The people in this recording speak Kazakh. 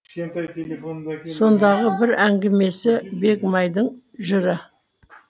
сондағы бір әңгімесі бегімайдың жыры